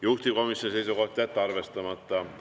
Juhtivkomisjoni seisukoht: jätta arvestamata.